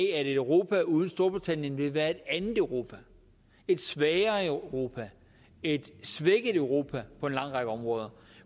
at et europa uden storbritannien vil være et andet europa et svagere europa et svækket europa på en lang række områder